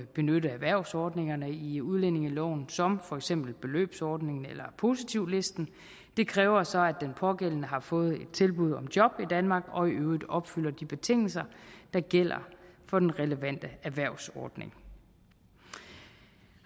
benytte erhvervsordningerne i udlændingeloven som for eksempel beløbsordningen eller positivlisten det kræver så at den pågældende har fået et tilbud om job i danmark og i øvrigt opfylder de betingelser der gælder for den relevante erhvervsordning